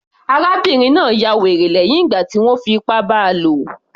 Arábìnrin náà ya wèrè lẹ́hìn ìgbà tí wọ́n fi ipá bá a lò